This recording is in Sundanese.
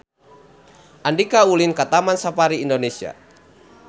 Andika ulin ka Taman Safari Indonesia